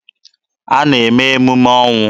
Ha na-eme emume ọnwụ.